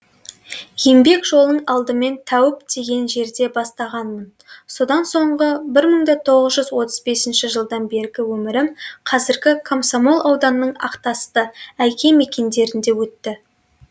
еңбек жолын алдымен тәуіп деген жерде бастағанмын содан соңғы бір мың да оғыз жүз отыз бесінші жылдан бергі өмірім қазіргі комсомол ауданының ақтасты әйке мекендерінде өтті